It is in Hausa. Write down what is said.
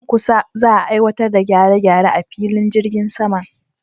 Nan kusa za'a aiwatar da gyare-gyare a filin jirgin saman.